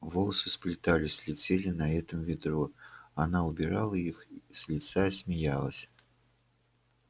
волосы сплетались летели на этом ветру она убирала их с лица и смеялась